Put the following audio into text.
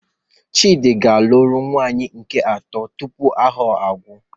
Chidi ga-alụrụ nwunye nke atọ tupu afọ ahụ agwụ